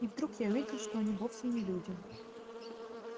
и вдруг я увидел что они вовсе не люди